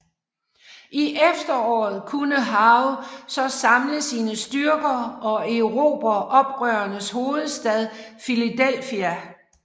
I efteråret kunne Howe så samle sine styrker og erobre oprørernes hovedstad Philadelphia